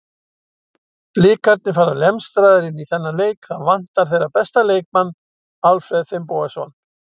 Blikarnir fara lemstraðir inn í þennan leik, það vantar þeirra besta leikmann Alfreð Finnbogason.